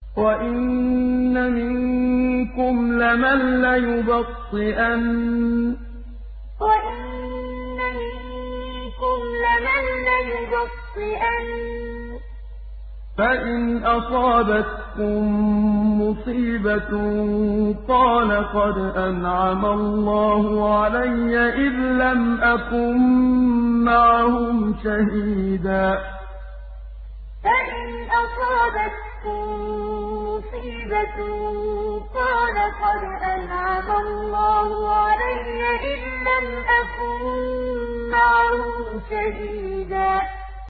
وَإِنَّ مِنكُمْ لَمَن لَّيُبَطِّئَنَّ فَإِنْ أَصَابَتْكُم مُّصِيبَةٌ قَالَ قَدْ أَنْعَمَ اللَّهُ عَلَيَّ إِذْ لَمْ أَكُن مَّعَهُمْ شَهِيدًا وَإِنَّ مِنكُمْ لَمَن لَّيُبَطِّئَنَّ فَإِنْ أَصَابَتْكُم مُّصِيبَةٌ قَالَ قَدْ أَنْعَمَ اللَّهُ عَلَيَّ إِذْ لَمْ أَكُن مَّعَهُمْ شَهِيدًا